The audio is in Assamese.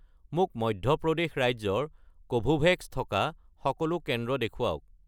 মোক মধ্য প্ৰদেশ ৰাজ্যৰ কোভোভেক্স থকা সকলো কেন্দ্ৰ দেখুৱাওক